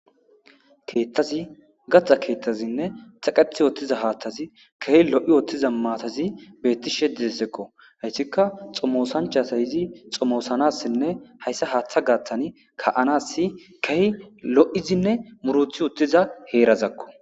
Keettazi gatha keethtazinne taqethi oottiza haaththazi kehi lo7i oottiza maatazi beetti shediessekko hayssikka xomosanchasayizi xomoosanassinne hayssa haaththa gaaththani ka7anas kehi lo7izinne muruthi uttiza heerazakko.